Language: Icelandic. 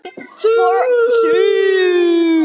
Fyrir Ísland!